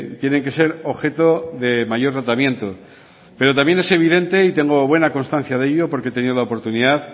tienen que ser objeto de mayor rotamiento pero también es evidente y tengo buena constancia de ello porque he tenido la oportunidad